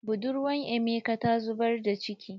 Budurwa emeka ta zubar da ciki.